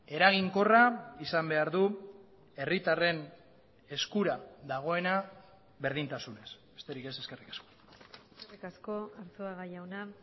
eraginkorra izan behar du herritarren eskura dagoena berdintasunez besterik ez eskerrik asko eskerrik asko arzuaga jauna